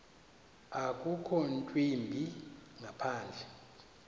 akukho ntwimbi ngaphandle